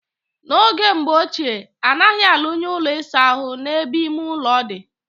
Na oge mbo oche, anaghi alu nye Ụlọ ịsa ahụ na ebe ime-ulo di.